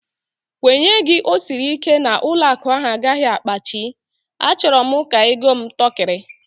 Nkwenye gị ọ sịrị ike na ụlọakụ ahụ agaghị apiachi? A chọrọ m ka ego m tọkiri